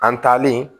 An taalen